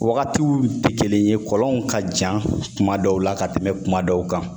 Wagatiw tɛ kelen ye kɔlɔnw ka jan kuma dɔw la ka tɛmɛ kuma dɔw kan